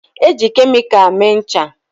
Eji kemịkal mee ncha.